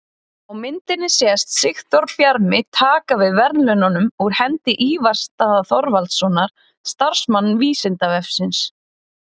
Á myndinni sést Sigþór Bjarmi taka við verðlaununum úr hendi Ívars Daða Þorvaldssonar, starfsmanns Vísindavefsins.